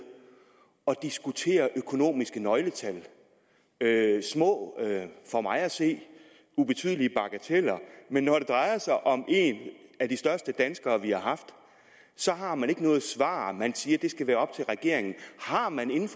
at diskutere økonomiske nøgletal små for mig at se ubetydelige bagateller men når det drejer sig om en af de største danskere vi har haft så har man ikke noget svar man siger at det skal være op til regeringen har man i